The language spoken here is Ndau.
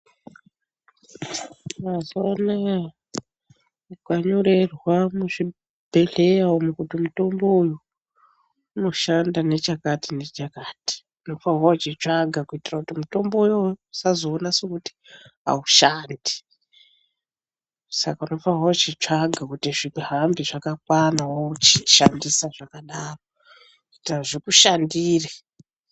Mazuwa anaya ukanyorerwa muzvibhehleya umu kuti mutombo uyu unoshanda nechakati nechakati unofane kuchitsvaga kuitira kuti mutombo uyoyo usazona sekuti aushandi saka unofane kuchitsvaga kuti zvihambe zvakakwana wochishandisa zvakadaro kuita zvikushandire.